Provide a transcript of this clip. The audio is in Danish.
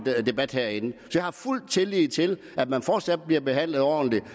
debat herinde jeg har fuld tillid til at man fortsat bliver behandlet ordentligt